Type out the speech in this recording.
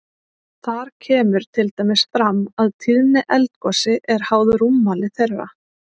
Þar kemur til dæmis fram að tíðni eldgosi er háð rúmmáli þeirra.